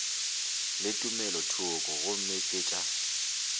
le tumelothoko gomme ke tša